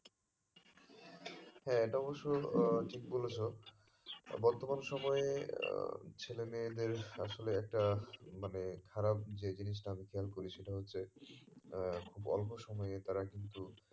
হ্যাঁ এটা অবশ্য আহ ঠিক বলেছো বর্তমান সময় আহ ছেলে মেয়েদের আসলে একটা মানে খারাপ যে জিনিষটা আমি খেয়াল করি সেটা হচ্ছে আহ খুব অল্প সময়ই তারা কিন্তু